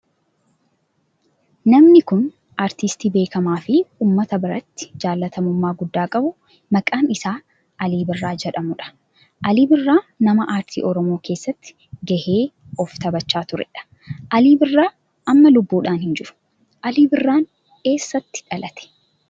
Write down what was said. Namni kun aartistii beekamaa fi ummata biratti jaalatamummaa guddaa qabu maqaan isaa Alii Birraa jedhamudha. Alii Birraa nama aartii oromoo keessatti gahee of taphachaa turedha. Alii Birraa amma lubbuudhan hin jiru. Alii Birraa eessatti dhalate?